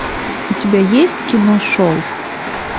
у тебя есть кино шелк